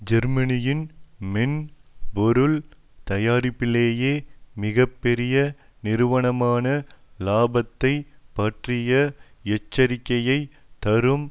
ஜெர்மனியின் மென் பொருள் தயாரிப்பிலேயே மிக பெரிய நிறுவனமான லாபத்தைப் பற்றிய எச்சரிக்கையைத் தரும்